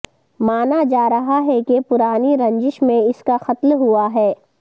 مانا جا رہا ہے کہ پرانی رنجش میں اس کا قتل ہوا ہے